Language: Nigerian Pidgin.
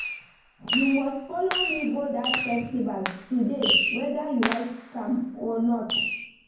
You must follow me go dat festival today whether you like am or not